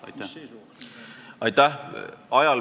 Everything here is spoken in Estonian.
Aitäh!